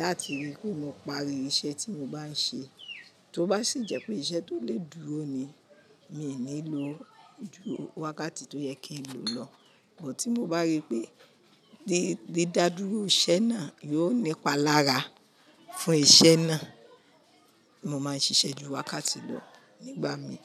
láti rí pe mo parí iṣẹ́ tí mo bá ń ṣe. Tó bá sì jẹ́ pé iṣẹ́ tó lè dúró ni, mi ò ní lo ìdúró wákàtí tó yẹ kí n lo lọ, ṣùgbọ́n tí mo bá rí pé dídá dúró iṣẹ́ náà yóò nípa lára fún iṣẹ́ náà, mo máa ń ṣiṣẹ́ ju wákàtí lọ nígbà mi.